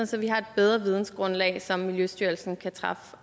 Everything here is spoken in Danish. så vi har et bedre vidensgrundlag som miljøstyrelsen kan træffe